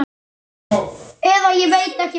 Eða ég veit ekki betur.